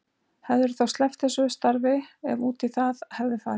Hefðirðu þá sleppt þessu starfi ef út í það hefði farið?